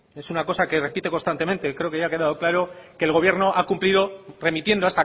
es una cosa que repite constantemente creo que ya ha quedado claro que el gobierno ha cumplido remitiendo